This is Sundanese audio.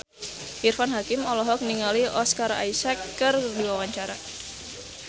Irfan Hakim olohok ningali Oscar Isaac keur diwawancara